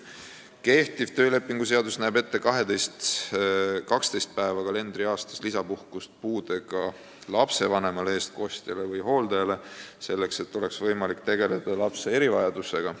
Kehtiv töölepingu seadus näeb kalendriaastas ette 12 päeva pikkust lisapuhkust puudega lapse vanemale, eestkostjale või hooldajale, selleks et oleks võimalik tegeleda lapse erivajadusega.